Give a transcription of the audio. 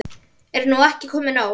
Er nú ekki komið nóg?